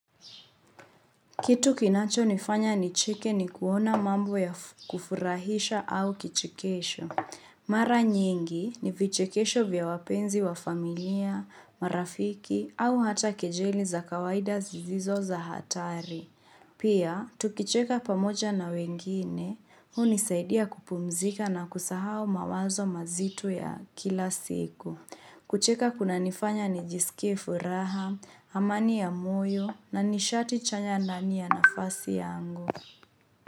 Kitu kinacho nifanya ni cheke ni kuona mambo ya kufurahisha au kichekesho. Mara nyingi ni vichekesho vya wapenzi wa familia, marafiki au hata kejeli za kawaida zisizo za hatari. Pia, tukicheka pamoja na wengine, hunisaidia kupumzika na kusahau mawazo mazito ya kila siku. Kucheka kuna nifanya nijisikie furaha, amani ya moyo na nishati chanya nani ya nafasi yangu.